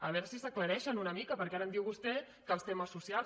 a veure si s’aclareixen una mica perquè ara em diu vostè que els temes socials